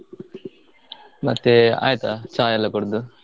ಮತ್ತೇ ಆಯ್ತಾ ಚಾ ಎಲ್ಲಾ ಕುಡ್ದು?